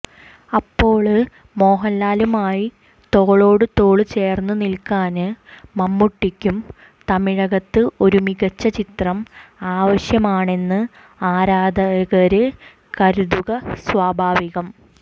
അപ്പോള് മോഹന്ലാലുമായി തോളോടുതോള് ചേര്ന്നു നില്ക്കാന് മമ്മൂട്ടിയ്ക്കും തമിഴകത്ത് ഒരു മികച്ച ചിത്രം ആവശ്യമാണെന്ന് ആരാധകര് കരുതുക സ്വാഭാവികം